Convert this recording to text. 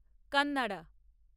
Kannada